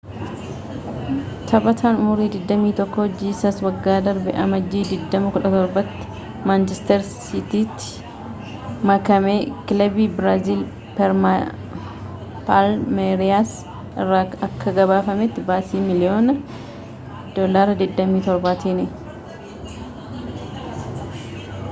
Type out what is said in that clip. taphataan umurii 21 jiisas waggaa darbe amajjii 2017 tti manchestar siitiitti makamekilabii biraaziil palmeriyaas irraa akka gabaafametti baasii miiliyoona £27tiin